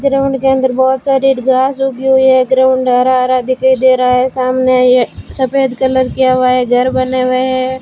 Ground के अंदर बहुत सारी घास उगी हुई है ग्राउंड हरा हरा दिखाई दे रहा है सामने ये सफेद कलर किया हुआ है घर बने हुए हैं।